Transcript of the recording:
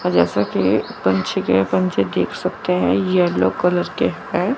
और जैसे की पंछी के पंछी देख सकते हैं ये येलो कलर के है।